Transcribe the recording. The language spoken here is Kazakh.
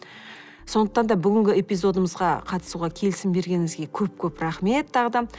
сондықтан да бүгінгі эпизодымызға қатысуға келісім бергеніңізге көп көп рахмет тағы да